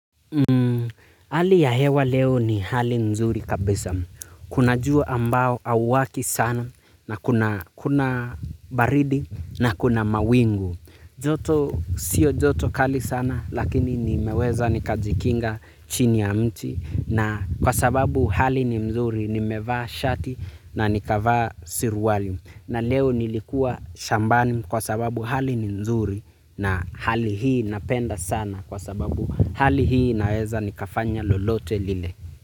Hmm, hali ya hewa leo ni hali mzuri kabisa. Kuna jua ambao auwaki sana na kuna baridi na kuna mawingu. Joto, sio joto kali sana lakini nimeweza nikajikinga chini ya mti na kwa sababu hali ni mzuri nimevaa shati na nikavaa siruwali. Na leo nilikua shambani kwa sababu hali ni nzuri na hali hii napenda sana kwa sababu hali hii naweza nikafanya lolote lile.